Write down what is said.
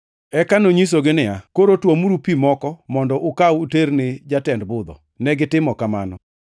Eka nonyisogi niya, “Koro tuomuru pi moko mondo ukaw uter ne jatend budho.” Negitimo kamano,